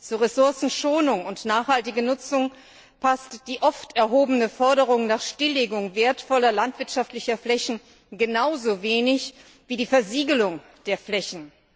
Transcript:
Zur Ressourcenschonung und nachhaltigen Nutzung passt die oft erhobene Forderung nach Stilllegung wertvoller landwirtschaftlicher Flächen genauso wenig wie die Versiegelung der Flächen.